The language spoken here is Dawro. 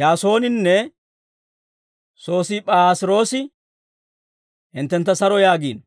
Yaasooninne Sosiip'aas'iroosi hinttentta saro yaagiino.